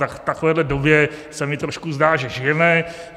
Tak v takovéhle době se mi trošku zdá, že žijeme.